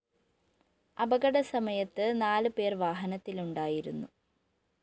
അപകട സമയത്ത് നാല് പേര്‍ വാഹനത്തിലുണ്ടായിരുന്നും